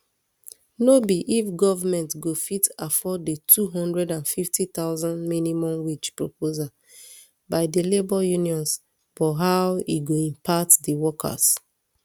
no be if goment go fit afford di two hundred and fifty thousand minimum wage proposal by di labour unions but how e go impact di workers